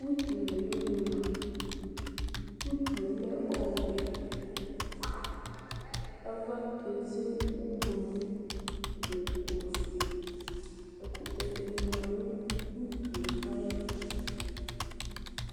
Utu nuli di ma utu lɛ ɔwɛ ava keze ublu nu ofue ɛkutɛ dini ma nu ute ayɛtu